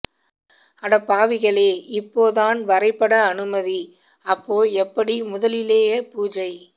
அடப்பாவிகளே இப்போ தான் வரைபட அனுமதி அப்போ எப்படி முதலிலேயே பூஜை